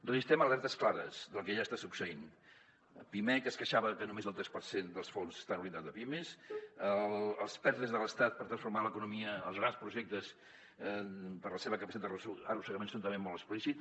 registrem alertes clares del que ja està succeint pimec es queixava que només el tres per cent dels fons estan orientats a pimes els perte de l’estat per transformar l’economia els grans projectes per la seva capacitat d’arrossegament són també molt explícits